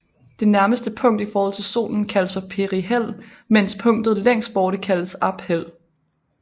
Det nærmeste punkt i forhold til Solen kaldes for perihel mens punktet længst borte kaldes aphel